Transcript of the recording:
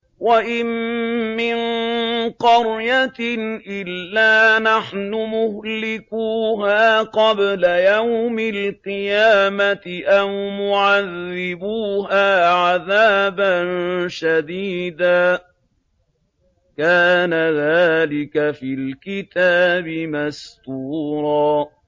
وَإِن مِّن قَرْيَةٍ إِلَّا نَحْنُ مُهْلِكُوهَا قَبْلَ يَوْمِ الْقِيَامَةِ أَوْ مُعَذِّبُوهَا عَذَابًا شَدِيدًا ۚ كَانَ ذَٰلِكَ فِي الْكِتَابِ مَسْطُورًا